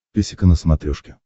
песика на смотрешке